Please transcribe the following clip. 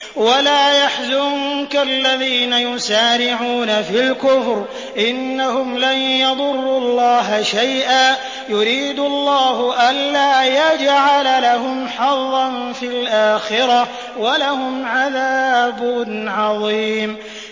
وَلَا يَحْزُنكَ الَّذِينَ يُسَارِعُونَ فِي الْكُفْرِ ۚ إِنَّهُمْ لَن يَضُرُّوا اللَّهَ شَيْئًا ۗ يُرِيدُ اللَّهُ أَلَّا يَجْعَلَ لَهُمْ حَظًّا فِي الْآخِرَةِ ۖ وَلَهُمْ عَذَابٌ عَظِيمٌ